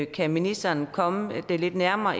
kan ministeren komme det lidt nærmere